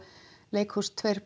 leikhús tvö